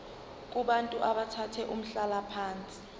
kubantu abathathe umhlalaphansi